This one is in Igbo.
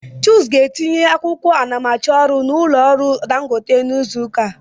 Chuk ga-etinye akwụkwọ anamachọrụ n'ụlọ ọrụ Dangote n'izu ụka a.